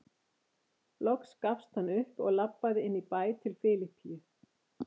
Loks gafst hann upp og labbaði inn í bæ til Filippíu.